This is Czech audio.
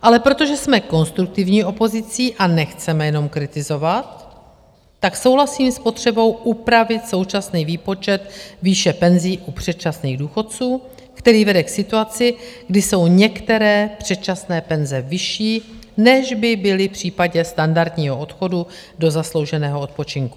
Ale protože jsme konstruktivní opozicí a nechceme jenom kritizovat, tak souhlasím s potřebou, upravit současný výpočet výše penzí u předčasných důchodců, který vede k situaci, kdy jsou některé předčasné penze vyšší, než by byly v případě standardního odchodu do zaslouženého odpočinku.